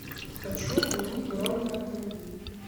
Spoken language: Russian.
хочу отменить бронь на автомобиль